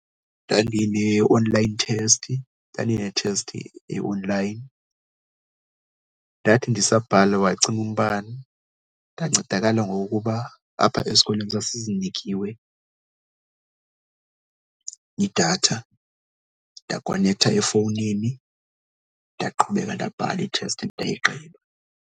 Ndandine-online test, ndandinethesti e-online ndathi ndisabhala wacima umbane. Ndancedakala ngokokuba apha esikolweni sasizinikiwe idatha, ndakonektha efowunini. Ndaqhubeka ndabhala ithesti ndayigqiba.